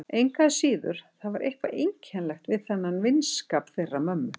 Engu að síður, það er eitthvað einkennilegt við þennan vinskap þeirra mömmu.